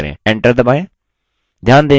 enter दबाएँ